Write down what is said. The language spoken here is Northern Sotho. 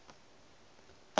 go ka no ba le